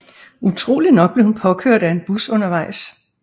Utroligt nok blev hun påkørt af en bus undervejs